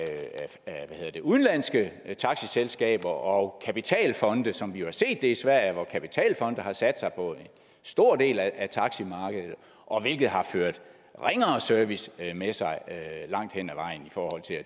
udenlandske taxiselskaber og kapitalfonde som vi jo har set det i sverige hvor kapitalfonde har sat sig på en stor del af taximarkedet hvilket har ført ringere service med sig langt hen ad vejen